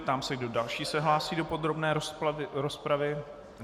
Ptám se, kdo další se hlásí do podrobné rozpravy.